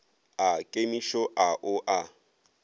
a kemišo a o a